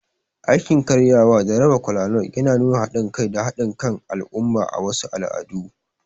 Aikin karyawa da raba kolanut yana nuna haɗin kai da haɗin kan al'umma a wasu al'adu.